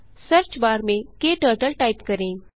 search bar में क्टर्टल type करें